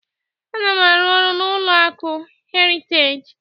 Ana m arụ-ọrụ na ụlọ akụ Heriteji